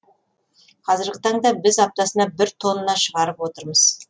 қазіргі таңда біз аптасына бір тонна шығарып отырмыз